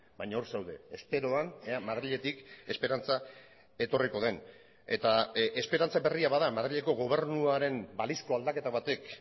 baina hor zaude esperoan ea madriletik esperantza etorriko den eta esperantza berria bada madrilgo gobernuaren balizko aldaketa batek